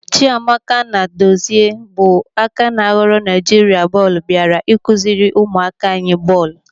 Chiamaka Nnadozie bụ aka ná ghọrọ Naijiria bọọlụ bịara ịkụziri ụmụaka anyị bọọlụ.